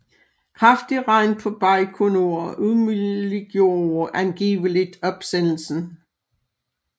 Kraftig regn på Bajkonur umuliggjorde angiveligt opsendelsen